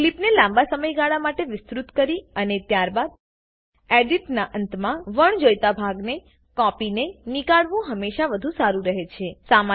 ક્લીપને લાંબા સમયગાળા માટે વિસ્તુત કરી અને ત્યારબાદ એડિટનાં અંતમાં વણજોઈતા ભાગને કાપીને નીકાળવું હમેશા વધુ સારું રહે છે